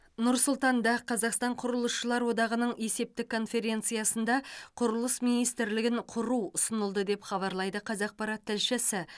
нұр сұлтанда қазақстан құрылысшылар одағының есептік конференциясында құрылыс министрлігін құру ұсынылды деп хабарлайды қазақпарат тілшісі